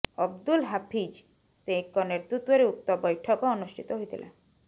ଅବ୍ଦୁଲ ହାଫିଜ ସେଖଙ୍କ ନେତୃତ୍ୱରେ ଉକ୍ତ ବୈଠକ ଅନୁଷ୍ଠିତ ହୋଇଥିଲା